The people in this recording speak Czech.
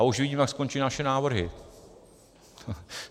A už vidím, jak skončí naše návrhy.